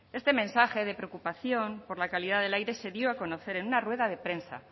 este mensaje de preocupación por la calidad del aire se dio a conocer en una rueda de prensa